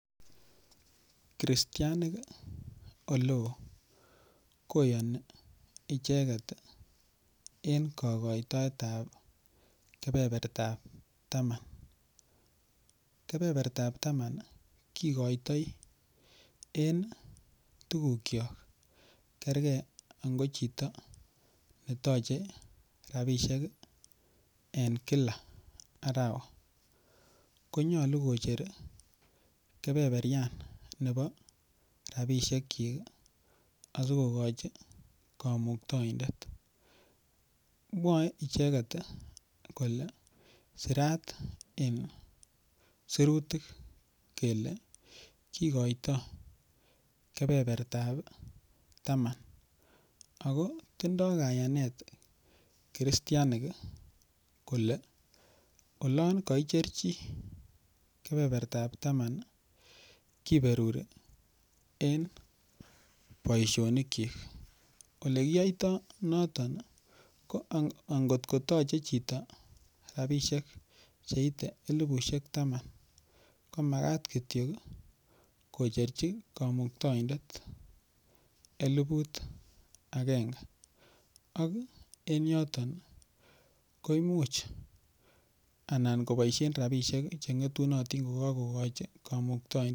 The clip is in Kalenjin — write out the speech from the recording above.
Kristianik oleo koyoni icheket en kokoitoet ap kepepertap taman kepepertap taman kikoitoi eng tukuk cho kerkei ango chito nitochei ropishek eng kila arawa konyolu kocher kepeperian nepo ropishek chii asikokochin komuktoindet mwoe icheket kole sirat eng sirutik kele kikoito kebebertap taman ako tindoi kayanet kristianik kole olon kaicher chii kepepertap taman kiperuri eng boishonik chi ole kiyoitoi noton angotko toche chito ropishek cheitei elipushek taman komakat kityo kocherchi komuktoindet eliput akenge ak eng yoton koimuch anan koboishen ropisiek chengetunotin kokakokoch komuktoinde.